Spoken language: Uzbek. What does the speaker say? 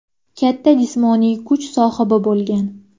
Katta jismoniy kuch sohibi bo‘lgan.